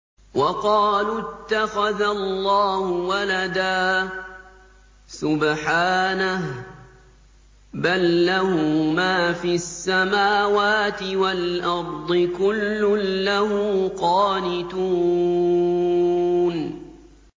وَقَالُوا اتَّخَذَ اللَّهُ وَلَدًا ۗ سُبْحَانَهُ ۖ بَل لَّهُ مَا فِي السَّمَاوَاتِ وَالْأَرْضِ ۖ كُلٌّ لَّهُ قَانِتُونَ